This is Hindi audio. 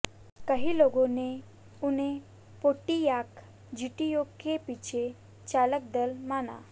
कई लोगों ने उन्हें पोंटियाक जीटीओ के पीछे चालक दल माना